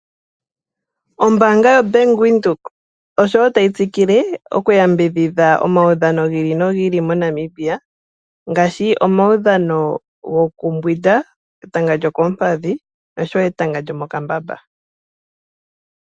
Oombaanga yo Bank Windhoek oshowo tayi tsikile oku yambidhidha omawudhano gi ili nogi ili mo Namibia ngaashi, omawudhano goku mbwinda etanga lyokoompadhi noshowo etanga lyo mokambamba.